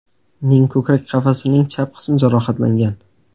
ning ko‘krak qafasining chap qismi jarohatlangan.